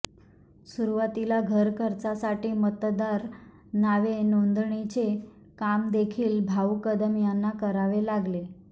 सुरुवातीला घर खर्चासाठी मतदार नावे नोंदणीचे काम देखील भाऊ कदम यांना करावे लागले